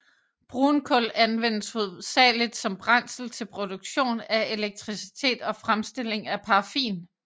Brunkul anvendes hovedsageligt som brændsel til produktion af elektricitet og fremstilling af paraffin